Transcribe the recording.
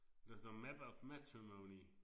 Der står map of matrimony